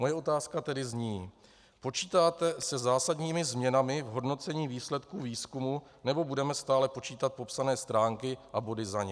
Moje otázka tedy zní: Počítáte se zásadními změnami v hodnocení výsledků výzkumu, nebo budeme stále počítat popsané stránky a body za ně?